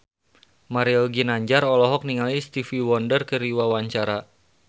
Mario Ginanjar olohok ningali Stevie Wonder keur diwawancara